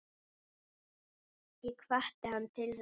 Ég hvatti hann til þess.